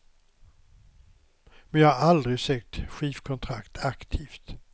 Men jag har aldrig sökt skivkontrakt aktivt.